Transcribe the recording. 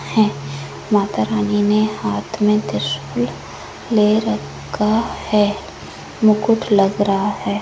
है माता रानी ने हाथ में त्रिशूल ले रखा है मुकुट लग रहा है।